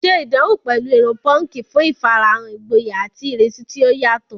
Ṣe ìdánwò pẹ̀lú irun púnkì fún ìfarahàn ìgboyà àti ìrísí tí ó yàtọ̀